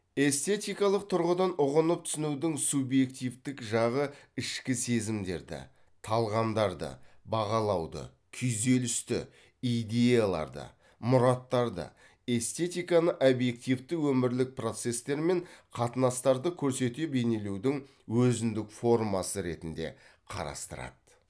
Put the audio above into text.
эстетикалық тұрғыдан ұғынып түсінудің субъективті жағы ішкі сезімдерді талғамдарды бағалауды күйзелісті идеяларды мұраттарды эстетиканы объективті өмірлік процестер мен қатынастарды көрсете бейнелеудің өзіндік формасы ретінде қарастырады